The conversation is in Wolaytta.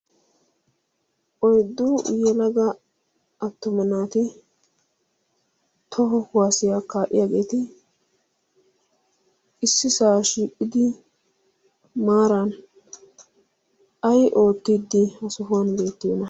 oyddu uyyelaga attuma naati toho huwaasiyaakkaa de'iyaageeti issi saa shii'idi maaran ai oottiddi ha sohuwan beettiana?